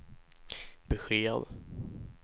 besked